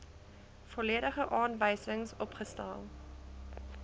volledige aanwysings opgestel